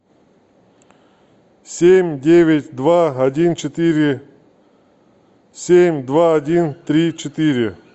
семь девять два один четыре семь два один три четыре